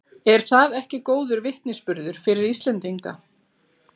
Er það ekki góður vitnisburður fyrir Íslendinga?